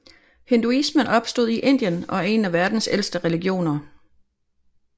Hinduismen opstod i Indien og er en af verdens ældste religioner